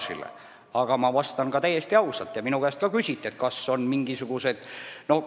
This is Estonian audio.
Nii et ma vastan täiesti ausalt, et minu käest küsiti selle kohta.